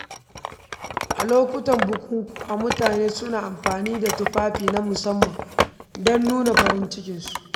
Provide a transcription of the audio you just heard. A lokutan bukukuwa, mutane suna amfani da tufafi na musamman don nuna farin ciki.